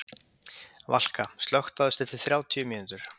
Valka, slökktu á þessu eftir þrjátíu mínútur.